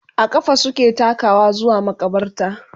a ƙafa suke takawa zuwa maƙabarta